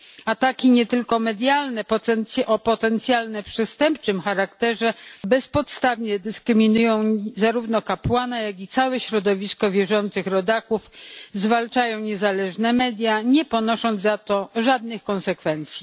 Ataki nie tylko medialne o potencjalnie przestępczym charakterze bezpodstawnie dyskryminują zarówno kapłana, jak i całe środowisko wierzących rodaków, zwalczają niezależne media, nie ponosząc za to żadnych konsekwencji.